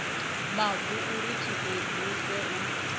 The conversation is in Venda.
mavu uri tshi edzise u